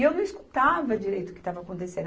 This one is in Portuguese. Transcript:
E eu não escutava direito o que estava acontecendo.